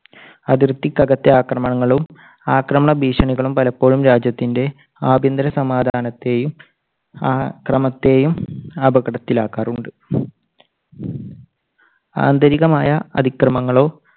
അതിർത്തിക്കകത്തെ ആക്രമണങ്ങളും ആക്രമണ ഭീഷണികളും പലപ്പോഴും രാജ്യത്തിന്റെ ആഭ്യന്തര സമാധാനത്തെയും ആ~ ക്രമത്തെയും അപകടത്തിൽ ആക്കാറുണ്ട്. ആന്തരികമായ അതിക്രമങ്ങളോ